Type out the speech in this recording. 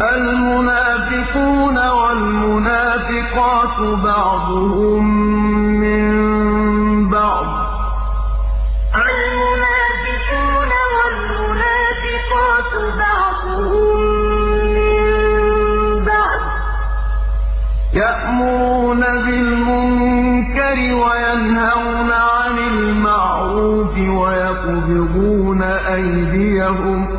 الْمُنَافِقُونَ وَالْمُنَافِقَاتُ بَعْضُهُم مِّن بَعْضٍ ۚ يَأْمُرُونَ بِالْمُنكَرِ وَيَنْهَوْنَ عَنِ الْمَعْرُوفِ وَيَقْبِضُونَ أَيْدِيَهُمْ ۚ